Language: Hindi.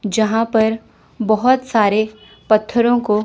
जहां पर बहोत सारे पत्थरों को--